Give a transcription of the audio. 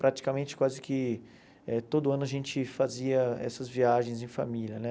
Praticamente quase que eh todo ano a gente fazia essas viagens em família, né?